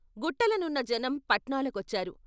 గుట్టలనున్న జనం పట్నాల కొచ్చారు.